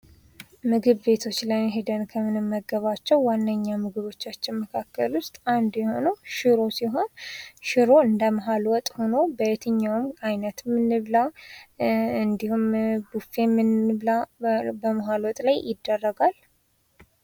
ምግብ ቤቶች ላይ ከምንመገባቸው ዋነኛ ምግቦቻችን መካከል ውስጥ አንዱ ሽሮ በየትኛውም አይነትን እንብላ። በመሐል ወጥ ይደረጋል።